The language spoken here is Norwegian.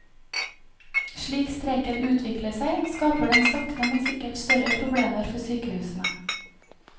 Slik streiken utvikler seg, skaper den sakte men sikkert større problemer for sykehusene.